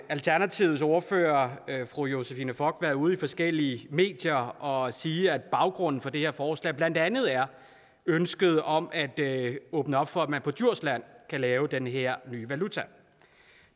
alternativets ordfører fru josephine fock været ude i forskellige medier og sige at baggrunden for det her forslag blandt andet er ønsket om at åbne op for at man på djursland kan lave den her valuta